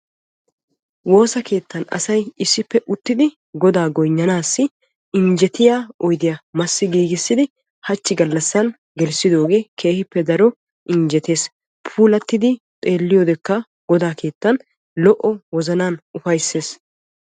woossa keettan asay issippe uttidi Godaa goynnanassi injjetiya oydiya massi giigissid hachchi gallassan gelissidooge keehippe daro injjeettes. puulattidi xeelliyoodekka Goda keettan lo''o wozannaan ufayssees.